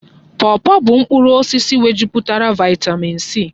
Pọpọ bụ mkpụrụ osisi nwejupụtara vaịtamịn C.